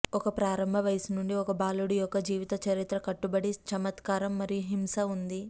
ఒక ప్రారంభ వయస్సు నుండి ఒక బాలుడు యొక్క జీవితచరిత్ర కట్టుబడి చమత్కారం మరియు హింస ఉంది